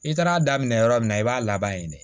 I taara daminɛ yɔrɔ min na i b'a laban ye de